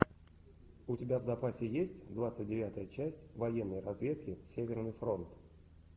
у тебя в запасе есть двадцать девятая часть военной разведки северный фронт